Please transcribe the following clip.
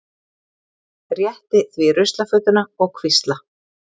Rétti því ruslafötuna og hvísla